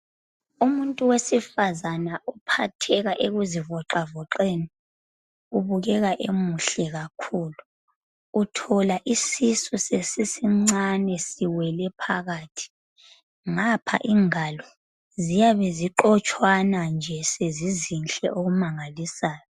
Umuntu wesifazana uphatheka ekuzi voxavoxeni ubukeka emuhle kakhulu uthola isisu sesisincane siwele phakathi ngapha ingalo ziyabe ziqotshwana nje sezizinhle okumangalisayo.